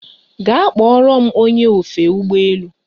Gaa kpọrọ m ony! e ofe ụgbọ elu